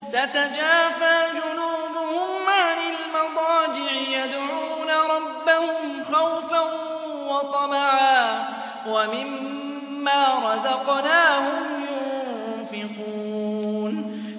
تَتَجَافَىٰ جُنُوبُهُمْ عَنِ الْمَضَاجِعِ يَدْعُونَ رَبَّهُمْ خَوْفًا وَطَمَعًا وَمِمَّا رَزَقْنَاهُمْ يُنفِقُونَ